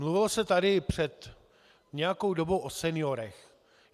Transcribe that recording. Mluvilo se tady před nějakou dobou o seniorech.